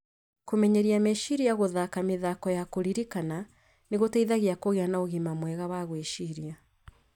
Kũmenyeria meciria ta gũthaka mĩthako ya kũririkana nĩ gũteithagia kũgĩa na ũgima mwega wa gwĩciria.